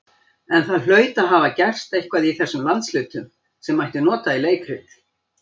En það hlaut að hafa gerst eitthvað í þessum landshlutum, sem mætti nota í leikrit.